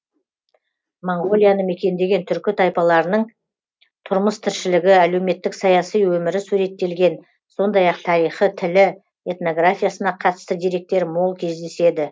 моңғолияны мекендеген түркі тайпаларының тұрмыс тіршілігі әлеуметтік саяси өмірі суреттелген сондай ақ тарихы тілі этнографиясына қатысты деректер мол кездеседі